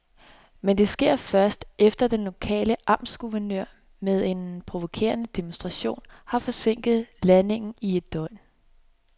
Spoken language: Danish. Men det sker først, efter at den lokale amtsguvernør med en provokerende demonstration har forsinket landingen i et døgn.